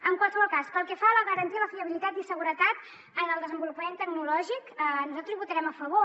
en qualsevol cas pel que fa a la garantia i la fiabilitat i seguretat en el desenvolupament tecnològic nosaltres hi votarem a favor